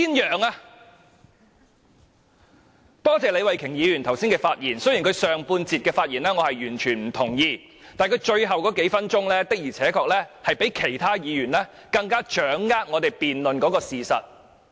我也多謝李慧琼議員剛才的發言，雖然我完全不認同她上半段的發言，但她最後數分鐘的發言，確實比其他議員更能掌握辯論的事實。